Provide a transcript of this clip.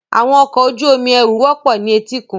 Àwọn ọkọ̀ ojú omi ẹrù wọ́pọ̀ ní etíkun.